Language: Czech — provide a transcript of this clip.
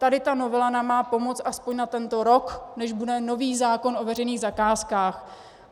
Tady ta novela nám má pomoci aspoň na tento rok, než bude nový zákon o veřejných zakázkách.